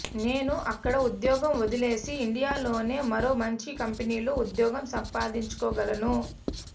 నేను అక్కడ ఉద్యోగం వదిలేసి ఇండియాలోనే మరో మంచి కంపెనీలో ఉద్యోగం సంపాదించుకోగలను